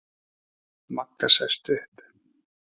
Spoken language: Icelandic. Magga sest upp.